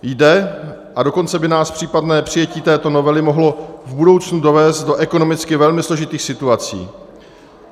Jde, a dokonce by nás případné přijetí této novely mohlo v budoucnu dovést do ekonomicky velmi složitých situací.